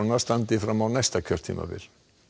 standi fram á næsta kjörtímabil